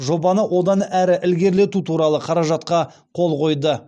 жобаны одан әрі ілгерілету туралы қаражатқа қол қойды